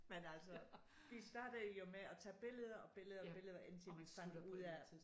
Men altså vi startede jo med at tage billeder og billeder billeder indtil man fandt ud af